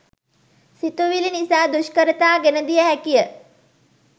සිතුවිලි නිසා දුෂ්කරතා ගෙන දිය හැකිය.